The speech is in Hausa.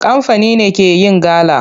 Kamfani ne ke yin gala.